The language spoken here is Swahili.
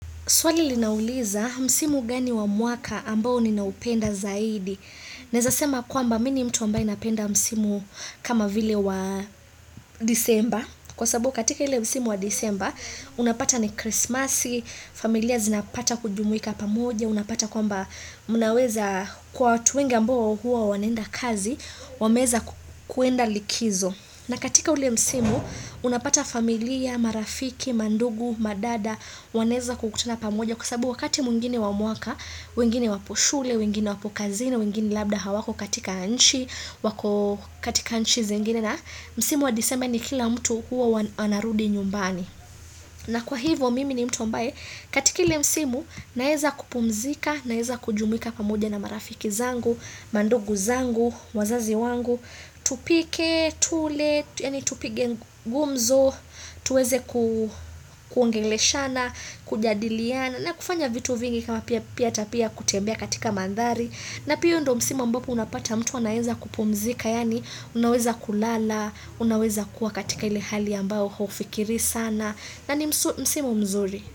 Swali linauliza msimu gani wa mwaka ambao ninaupenda zaidi. Naweza sema kwamba mimi ni mtu ambaye napenda msimu kama vile wa december. Kwa sabu katika ile msimu wa deceber, unapata ni krismasi, familia zinapata kujumwika pamoja, unapata kwamba mnaweza kwa watu wengi ambo huwa wanenda kazi, wameweza kuenda likizo. Na katika ule msimu, unapata familia, marafiki, mandugu, madada, wanaweza kukutuna pamoja kwa sababu wakati mwingine wa mwaka, wengine waposhule, wengine wapo kazini, wengine labda hawako katika nchi, wako katika nchi zengine na msimu wadecember ni kila mtu huwa anarudi nyumbani. Na kwa hivo mimi ni mtu mbaye katika ile msimu naweza kupumzika, naweza kujumika pamoja na marafiki zangu, mandugu zangu, wazazi wangu, tupike, tule, tupige gumzo, tuweze kuongeleshana, kujadiliana na kufanya vitu vingi kama pia hata pia kutembea katika mandhari. Na pia huo ndo msimu mbapo unapata mtu anaenza kupumzika, yani unaweza kulala, unaweza kuwa katika ile hali ambayo haufikirii sana, na ni msima mzuri.